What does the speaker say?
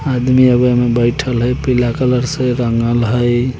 आदमी आगे में बइठल हेय पीला कलर से रंगल हेय।